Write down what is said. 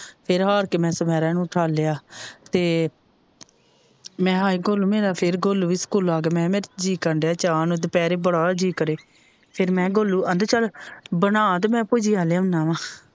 ਫਿਰ ਹਾਰ ਕੇ ਮੈ ਛਮੇਰਾ ਨੂੰ ਉਠਾਲਿਆ ਤੇ ਮੈ ਕਿਹਾ ਹਾਏ ਗੋਲੂ ਮੇਰਾ ਫਿਰ ਗੋਲੂ ਵੀ ਸਕੂਲੋ ਆਗਿਆ ਮੈ ਕਿਹਾ ਮੇਰਾ ਤੇ ਜੀਅ ਕਰਨ ਦਿਆ ਚਾਹ ਨੂੰ ਦੁਪਹਿਰੇ ਬੜਾ ਜੀਅ ਕਰੇ ਫਿਰ ਮੈ ਕਿਹਾ ਗੋਲੂ ਆਂਦਾ ਚਲ ਬਣਾ ਤੇ ਮੈ ਭੁਜੀਆ ਲਿਆਉਣਾ ਵਾ।